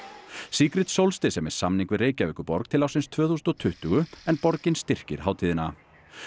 Solstice er með samning við Reykjavíkurborg til ársins tvö þúsund og tuttugu en borgin styrkir hátíðina